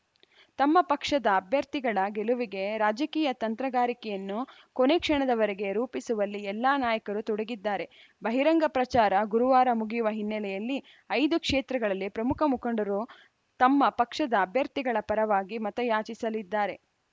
ತಮ್ಮ ಪಕ್ಷದ ಅಭ್ಯರ್ಥಿಗಳ ಗೆಲುವಿಗೆ ರಾಜಕೀಯ ತಂತ್ರಗಾರಿಕೆಯನ್ನು ಕೊನೆ ಕ್ಷಣದವರೆಗೆ ರೂಪಿಸುವಲ್ಲಿ ಎಲ್ಲಾ ನಾಯಕರು ತೊಡಗಿದ್ದಾರೆ ಬಹಿರಂಗ ಪ್ರಚಾರ ಗುರುವಾರ ಮುಗಿಯುವ ಹಿನ್ನೆಲೆಯಲ್ಲಿ ಐದು ಕ್ಷೇತ್ರದಲ್ಲಿ ಪ್ರಮುಖ ಮುಖಂಡರು ತಮ್ಮ ಪಕ್ಷದ ಅಭ್ಯರ್ಥಿಗಳ ಪರವಾಗಿ ಮತಯಾಚಿಸಲಿದ್ದಾರೆ